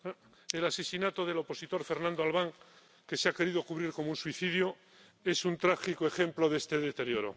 ...el asesinato del opositor Fernando Albán, que se ha querido cubrir como un suicidio, es un trágico ejemplo de este deterioro.